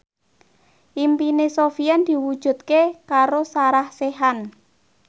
impine Sofyan diwujudke karo Sarah Sechan